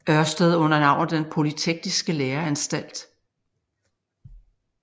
Ørsted under navnet Den Polytekniske Læreanstalt